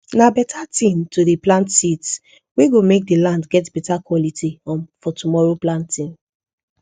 na beta thin to dey plant seeds wey go make the land get better quality um for tomorrow planting